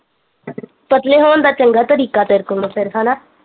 ਪਤਲੇ ਹੋਣ ਦਾ ਚੰਗਾ ਤਰੀਕਾ ਤੇਰੇ ਕੋਲ ਹੁਣ ਫਿਰ ਹੈਨਾ